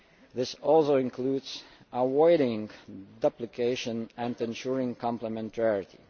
This also includes avoiding duplication and ensuring complementarity.